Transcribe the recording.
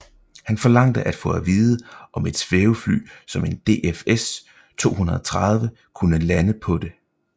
Han forlangte at få at vide om et svævefly som en DFS 230 kunne lande på det